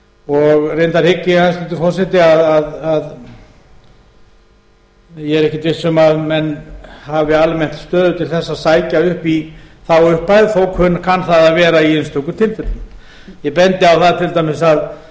og reyndar hygg ég hæstvirtur forseti að ég er ekki viss um að menn hafi almennt stöðu til þess að sækja upp í þá upphæð þó kann það að vera í einstaka tilfellum ég bendi á það til dæmis að